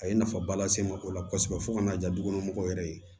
A ye nafaba lase n ma o la kosɛbɛ fo ka n'a di du kɔnɔ mɔgɔw yɛrɛ ye